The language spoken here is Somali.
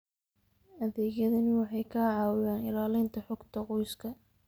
Adeegyadani waxay ka caawiyaan ilaalinta xogta qoyska.